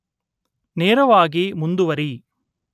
ನೇರವಾಗಿ ಮುಂದುವರಿ